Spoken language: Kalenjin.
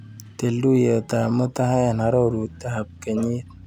Til tuiyetap mutai eng arorutab kenyit.